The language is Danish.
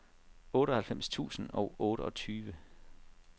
otteoghalvfems tusind og otteogtyve